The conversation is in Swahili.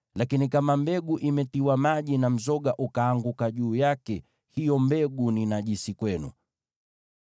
Lakini kama mbegu imetiwa maji na mzoga ukaanguka juu yake, hiyo mbegu ni najisi kwenu.